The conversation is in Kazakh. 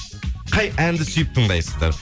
қай әнді сүйіп тыңдайсыздар